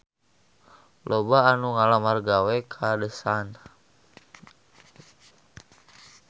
Loba anu ngalamar gawe ka The Sun